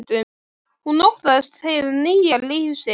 Hún óttast hið nýja líf sitt.